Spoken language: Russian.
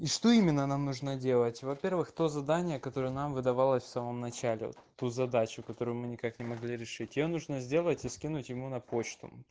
и что именно нам нужно делать во-первых то задание которое нам выдавалось в самом начале вот ту задачу которую мы никак не могли решить её нужно сделать и скинуть ему на почту